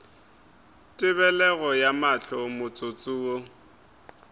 tebelego ya mahlo motsotso wo